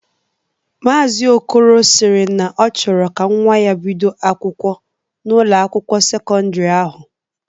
Maazi Okolo sịrị na ọ chọrọ ka nwa ya bido akwụkwọ n'Ụlọ akwụkwọ sekọndrị ahụ.